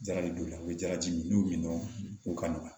Jarabi b'u la u bɛ jalaji min u ka nɔgɔn